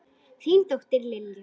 Þín dóttir, Lilja.